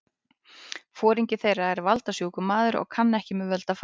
Foringi þeirra er valda- sjúkur maður og kann ekki með völd að fara.